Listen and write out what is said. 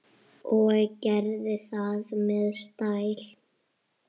Og gerði það með stæl.